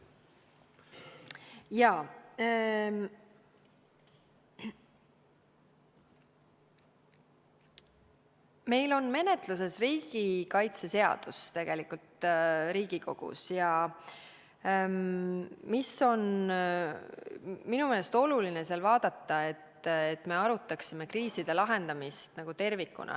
Meil on Riigikogus menetlusel riigikaitseseadus ja minu meelest on selle puhul oluline vaadata, et arutaksime kriiside lahendamist tervikuna.